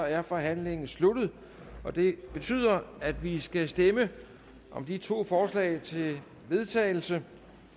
er forhandlingen sluttet og det betyder at vi skal stemme om de to forslag til vedtagelse